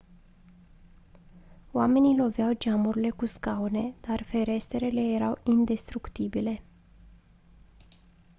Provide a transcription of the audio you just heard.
oamenii loveau geamurile cu scaune dar ferestrele erau indestructibile